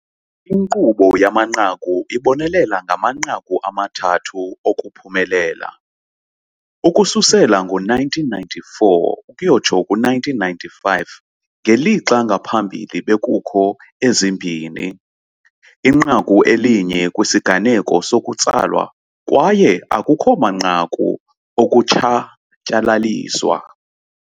Inkqubo yamanqaku ibonelela ngamanqaku amathathu okuphumelela, ukususela ngo-1994 ukuyotsho ku1995, ngelixa ngaphambili bekukho ezimbini, inqaku elinye kwisiganeko sokutsalwa kwaye akukho manqaku okutshatyalaliswa.